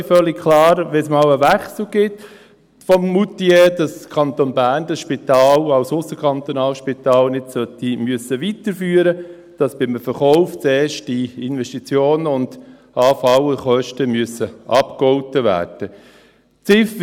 Es ist völlig klar, dass – wenn es mal einen Wechsel von Moutier gibt – der Kanton Bern dieses Spital als ausserkantonales Spital nicht weiterführen muss und dass bei einem Verkauf zuerst die Investitionen und anfallenden Kosten abgegolten werden müssen.